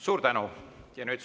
Suur tänu!